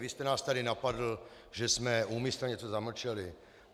Vy jste nás tady napadl, že jsme úmyslně něco zamlčeli.